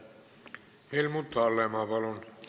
Helmut Hallemaa, palun!